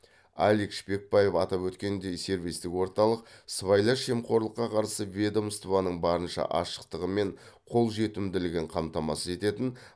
алик шпекбаев атап өткендей сервистік орталық сыбайлас жемқорлыққа қарсы ведомстваның барынша ашықтығы мен қолжетімділігін қамтамасыз ететін